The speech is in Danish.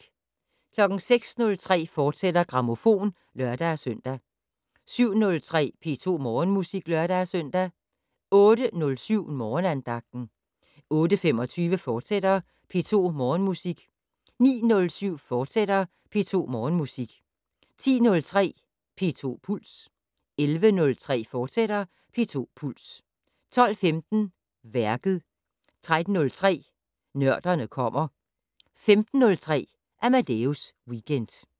06:03: Grammofon, fortsat (lør-søn) 07:03: P2 Morgenmusik (lør-søn) 08:07: Morgenandagten 08:25: P2 Morgenmusik, fortsat 09:07: P2 Morgenmusik, fortsat 10:03: P2 Puls 11:03: P2 Puls, fortsat 12:15: Værket 13:03: Nørderne kommer 15:03: Amadeus Weekend